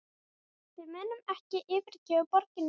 Við munum ekki yfirgefa borgirnar okkar